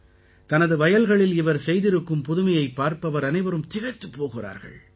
தனது வயல்களில் இவர் செய்திருக்கும் புதுமையைப் பார்ப்பவர் அனைவரும் திகைத்துப் போகிறார்கள்